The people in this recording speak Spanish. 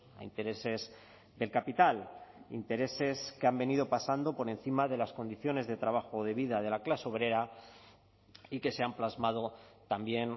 a intereses del capital intereses que han venido pasando por encima de las condiciones de trabajo de vida de la clase obrera y que se han plasmado también